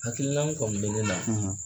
Hakililan kɔni be ne la